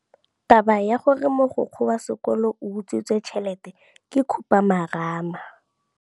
Taba ya gore mogokgo wa sekolo o utswitse tšhelete ke khupamarama.